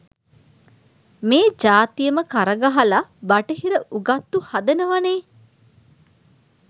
මේ ජාතියම කරගහල බටහිර උගත්තු හදනවනේ